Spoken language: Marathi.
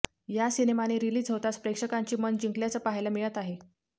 या सिनेमाने रिलीज होताच प्रेक्षकांची मनं जिंकल्याचं पाहायला मिळत आहे